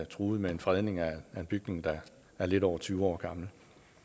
truet med en fredning af bygningen der er lidt over tyve år gammel